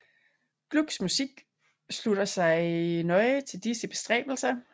Glucks musik slutter sig nøje til disse bestræbelser